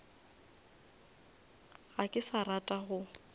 ga ke sa rata go